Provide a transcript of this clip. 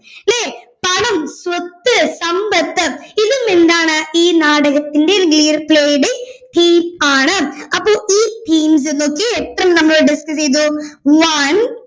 അല്ലെ പണം സ്വത്ത് സമ്പത്ത് ഇതും എന്താണ് ഈ നാടകത്തിന്റെ ഒരു near play യുടെ theme ആണ് അപ്പൊ ഈ themeses ഒക്കെ എത്ര നമ്മൾ discuss ചെയ്തു one